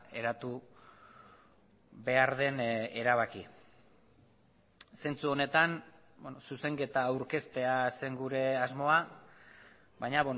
eratu behar den erabaki zentzu honetan zuzenketa aurkeztea zen gure asmoa baina